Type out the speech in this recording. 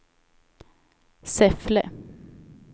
Säffle